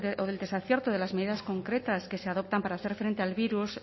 o del desacierto de las medidas concretas que se adoptan para hacer frente al virus